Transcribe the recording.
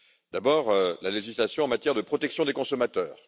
D'abord, la législation en matière de protection des consommateurs.